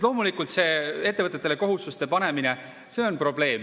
Loomulikult, see ettevõtetele kohustuste panemine, on probleem.